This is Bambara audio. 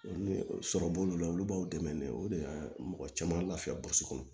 Ni sɔrɔ b'olu la olu b'aw dɛmɛ mɛ o de ka mɔgɔ caman lafiya boso kɔnɔ